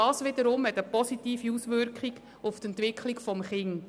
Das wiederum hat eine positive Auswirkung auf die Entwicklung des Kindes.